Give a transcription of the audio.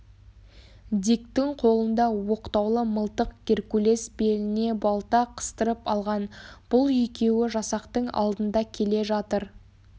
диктің қолында оқтаулы мылтық геркулес беліне балта қыстырып алған бұл екеуі жасақтың алдында келе жатыр